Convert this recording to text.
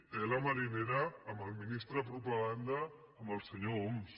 tela marinera amb el ministre de propaganda amb el senyor homs